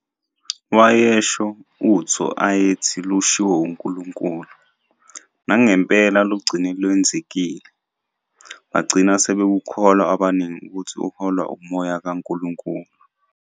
Wayesho utho ayethi lushiwo uNkulunkulu, nangempela lugcine lwenzekile, bagcina sebekholwa abaningi ukuthi uholwa umoya kaNkulunkulu.